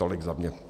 Tolik za mě.